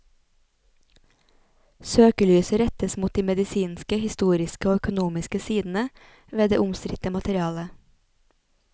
Søkelyset rettes mot de medisinske, historiske og økonomiske sidene ved det omstridte materialet.